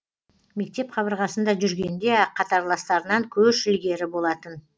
мектеп қабырғасында жүргенде ақ қатарластарынан көш ілгері болатын